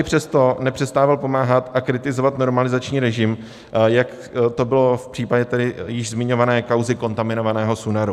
I přesto nepřestával pomáhat a kritizovat normalizační režim, jak to bylo v případě tedy již zmiňované kauzy kontaminovaného Sunaru.